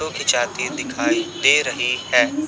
जोकि जाते दिखाई दे रही है।